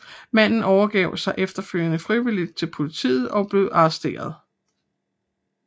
Manden overgav sig efterfølgende frivilligt til politiet og blev arresteret